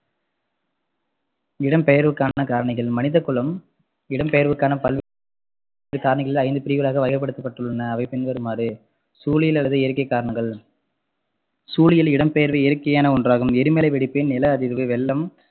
இடம்பெயர்வுக்கான காரணிகள் மனிதகுலம் இடம்பெயர்வுக்கான பல்வேறு காரணிகள் ஐந்து பிரிவுகளாக வகைப்படுத்தப்பட்டுள்ளன அவை பின்வருமாறு சூழியல் அல்லது இயற்கை காரணங்கள் சூழியல் இடம்பெயர்வு இயற்கையான ஒன்றாகும் எரிமலை வெடிப்பு, நிலஅதிர்வு, வெள்ளம்,